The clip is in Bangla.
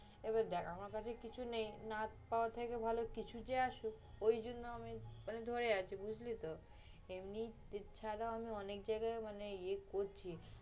এবার দেখ আমার কাছে কিছু নেই। না পাওয়ার থেকে ভালো কিছু যে আসুক। ঐ জন্য আমি ধরে আছি, বুজলি তো? এমনি এছাড়াও আমি অনেক জায়গায় মানে ইয়ে করছি